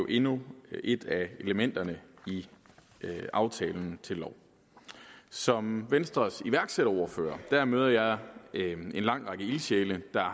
endnu et af elementerne i aftalen til lov som venstres iværksætterordfører møder jeg en lang række ildsjæle der